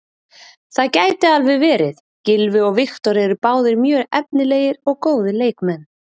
Það gæti alveg verið, Gylfi og Viktor eru báðir mjög efnilegir og góðir leikmenn.